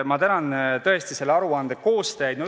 Ma tänan tõesti selle aruande koostajaid.